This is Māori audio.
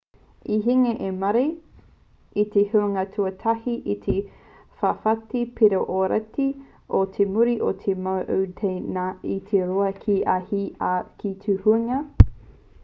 i hinga a murray i te huinga tuatahi i te whawhati piro ōrite i muri i te mau a ngā tāne e rua ki ia hau ki te huinga